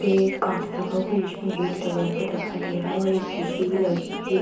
पे एक काँच लगा हुआ है जिसमें गेट लगा हुआ दिखाई दे रहा है और एक ए.सी. भी लगी हुई है।